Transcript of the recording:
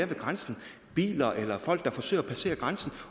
ved grænsen biler eller folk der forsøger at passere grænsen